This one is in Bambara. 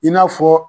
I n'a fɔ